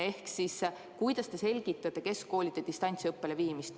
Ehk siis: kuidas te selgitate keskkoolide distantsiõppele viimist?